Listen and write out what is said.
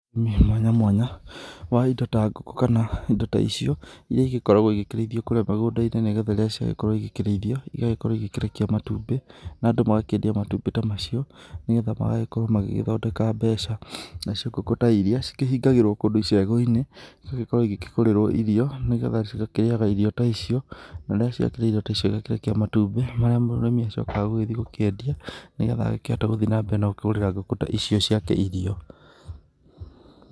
Ũrĩmi mwanya mwanya wa indo ta ngũkũ kana indo ta icio iria igĩkoragwo igĩkĩrĩithio kũrĩa mĩgũnda-inĩ nĩgetha rĩrĩa ciagĩkorwo igĩkĩrĩithio, igagĩkorwo igĩkĩrekia matumbĩ na andũ magakĩendia matumbĩ ta macio, nĩgetha magagĩkorwo magĩthondeka mbeca, nacio ngũkũ ta iria, cikĩhingagĩrwo kũndũ icegũ-inĩ, igagĩkorwo ikĩgũrĩrwo irio nĩgetha cigakĩrĩaga irio ta icio na rĩrĩa ciakĩrĩa irio ta icio igakĩrekia matumbĩ, marĩa mũrĩmi acokaga gũgĩthiĩ gũkĩendia nĩgetha akĩhote gũthiĩ na mbere na gũkĩgũrĩra ngũkũ ta icio ciake irio.